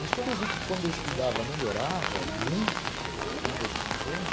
Mas quando eu vi que quando eu estudava melhorava muito meu desempenho,